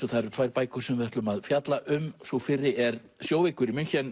það eru tvær bækur sem við ætlum að fjalla um sú fyrri er sjóveikur í